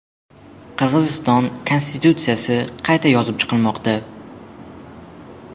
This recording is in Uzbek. Qirg‘iziston konstitutsiyasi qayta yozib chiqilmoqda.